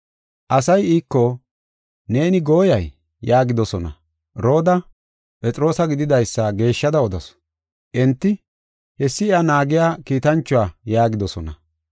Asay iiko, “Neeni gooyay!” yaagidosona. Rooda Phexroosa gididaysa geeshshada odasu. Enti, “Hessi iya naagiya kiitanchuwa” yaagidosona.